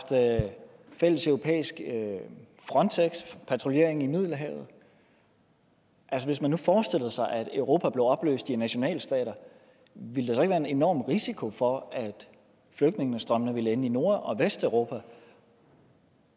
fælles europæisk frontexpatruljering i middelhavet hvis man nu forestillede sig at europa blev opløst i nationalstater ville være en enorm risiko for at flygtningestrømmene ville ende i nord og vesteuropa